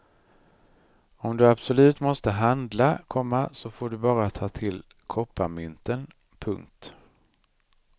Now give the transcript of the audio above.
Om du absolut måste handla, komma så får du bara ta till kopparmynten. punkt